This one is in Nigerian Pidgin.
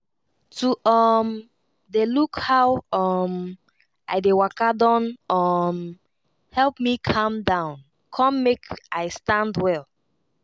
to um dey look how um i dey waka don um help me calm down come make i stand well.